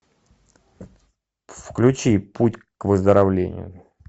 включи путь к выздоровлению